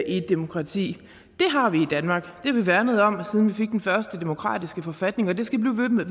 et demokrati det har vi i danmark har vi værnet om siden vi fik den første demokratiske forfatning og det skal vi